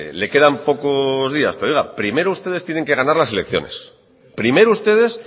le quedan pocos días pero oiga primero ustedes tienen que ganar las elecciones primero ustedes